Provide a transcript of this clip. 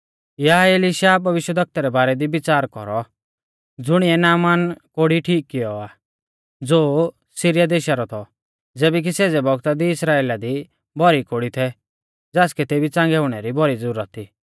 या एलिशा भविष्यवक्ता रै बारै दी विच़ार कौरौ ज़ुणिऐ नामान कोढ़ी ठीक कियौ आ ज़ो सिरीया देशा रौ थौ ज़ैबै कि सेज़ै बौगता दी इस्राइला दी भौरी कोढ़ी थै ज़ासकै तेबी च़ांगै हुणै री भौरी ज़ुरत थी